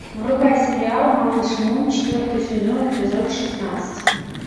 врубай сериал малыш мун четвертый сезон эпизод шестнадцать